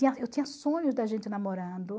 Eu tinha sonhos da gente namorando.